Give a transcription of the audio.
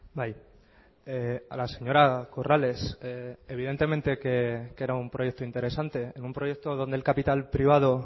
bai a la señora corrales evidentemente que era un proyecto interesante en un proyecto donde el capital privado